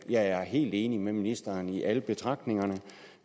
jeg er helt enig med ministeren i alle betragtningerne